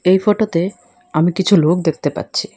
এই ফটোতে আমি কিছু লোক দেখতে পাচ্ছি।